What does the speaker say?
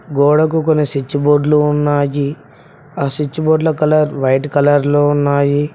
గోడకు కొని స్విచ్ బోర్డ్లు ఉన్నాయి ఆ స్విచ్ బోర్డ్ల కలర్ వైట్ కలర్ లో ఉన్నాయి.